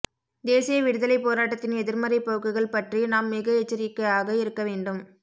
தேசிய விடுதலைப் போராட்டத்தின் எதிர்மறைப் போக்குகள் பறறி நாம் மிக எச்சரிக்கையாக இருக்க வேண்டும